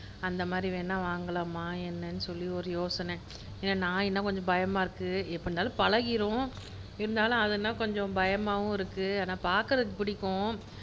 அந்த மாதிரி வேண்ணா வாங்கலாமா என்னன்னு சொல்லி ஒரு யோசனை ஏன்னா, நாய்னா கொஞ்சம் பயமா இருக்கு எப்படின்னாலும் பழகிரும் இருந்தாலும் அதுன்னா கொஞ்சம் பயமாவும் இருக்கு ஆனா பாக்குறதுக்கு பிடிக்கும்